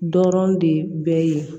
Dɔrɔn de bɛ yen